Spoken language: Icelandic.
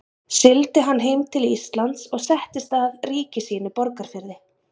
Sigldi hann heim til Íslands og settist að ríki sínu í Borgarfirði.